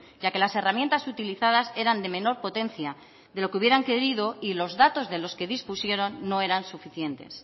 ya que las herramientas utilizadas eran de menor potencia de lo que hubieran querido y los datos de los que dispusieron no eran suficientes